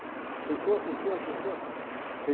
fechou, fechou, fechou. Cinemas fecharam.